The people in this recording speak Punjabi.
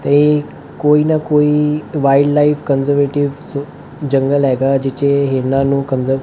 ਤੇ ਕੋਈ ਨਾ ਕੋਈ ਵਾਈਟ ਲਾਈਫ ਕੰਜਰਵੇਟਿਵ ਜੰਗਲ ਹੈਗਾ ਜਿੱਥੇ ਇਹਨਾਂ ਨੂੰ ਕੰਜਰ